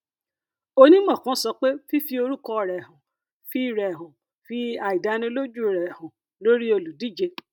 onímọ kan sọ pé fífi orúkọ rẹ hàn fi rẹ hàn fi àìdánilójú rẹ hàn lórí olùdíje